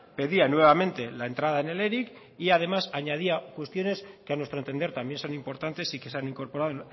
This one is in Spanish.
pedía nuevamente la entrada en el eric y además añadía cuestiones que a nuestro entender también son importantes y que se han incorporado